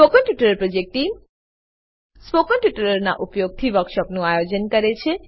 spoken tutorial project team spoken ટ્યુટોરીયલોનાં ઉપયોગથી વર્કશોપોનું આયોજન કરે છે